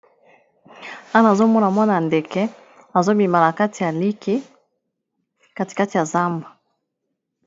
Awa nazomona mwana ndeke azobima nakati ya liki kati kati ya zamba.